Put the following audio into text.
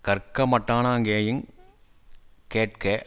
கற்க மட்டானா கேயிங் கேட்க